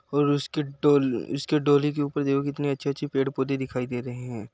और उसके डो डोली के ऊपर देखो कितने अच्छे पेड़ पौधे दिखाई दे रहे हैं।